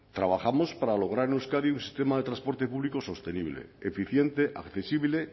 trabajamos para lograr en euskadi un sistema de transporte público sostenible eficiente accesible